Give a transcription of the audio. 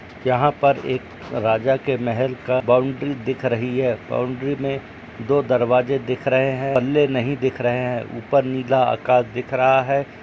यहाँ पर एक राजा के महल का बाउन्ड्री दिख रही है बाउन्ड्री में दो दरवाजे दिख रहे है पल्ले नहीं दिख रहे है ऊपर नीला आकाश दिख रहा है।